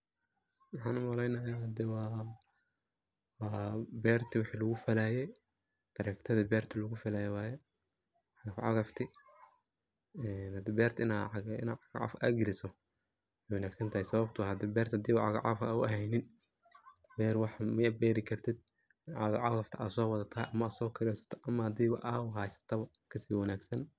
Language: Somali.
Maxa umalenaya hada waa wixi berta lagu falaye tractor di berta lagu falaaye waye, cagafcagafti ee berti hade wa ina cagafcagaf galiso wey wanagsantahay sababto ah hadi berta a cagafcagaf u heynin, ber waxbo ma berikartid cagafcagaf ta aa wadhata ama so kiresata ama hadi aad haysato ka si wanagsan.